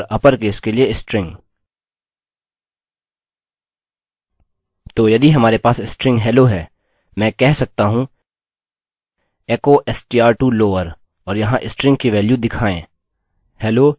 तो यदि हमारे पास स्ट्रिंग hello है मैं कह सकता हूँ echo str to lower और यहाँ स्ट्रिंग की वेल्यू दिखाएँ